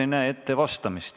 Aitäh!